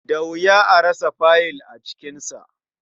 Da wuya a rasa faiyil a cikinsa.